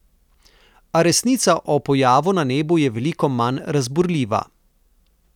A resnica o pojavu na nebu je veliko manj razburljiva.